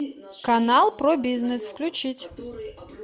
канал про бизнес включить